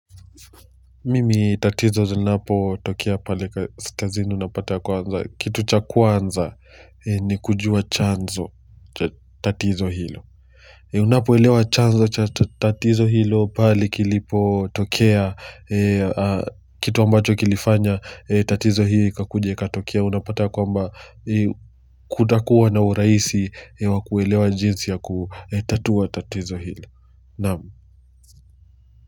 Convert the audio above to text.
Mimi tatizo zinapotokea pale kazini unapata kwanza kitu cha kwanza ni kujua chanzo tatizo hilo. Unapo elewa chanzo cha tatizo hilo pali kilipotokea kitu ambacho kilifanya tatizo hii ikakuja ikatokia napata kwamba kutakuwa na urahisi wakuelewa jinsi ya kutatua tatizo hilo naam.